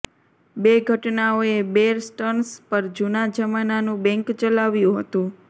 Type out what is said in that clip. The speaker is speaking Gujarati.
બે ઘટનાઓએ બેર સ્ટર્ન્સ પર જૂના જમાનાનું બેંક ચલાવ્યું હતું